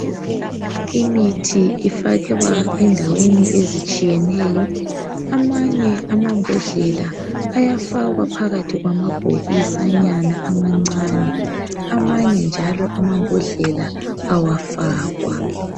Imithi ifakwa endaweni ezitshiyeneyo. Amanye amabhodlela ayafakwa phakathi kwamabhokisanyana amancane. Amanye njalo amabhodlela awafakwa.